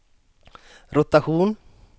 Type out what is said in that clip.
rotation